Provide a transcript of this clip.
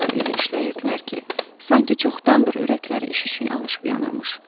Onlar elə işləyirdilər ki, sanki çoxdandır ürəkləri iş üçün alışıb yanırmış.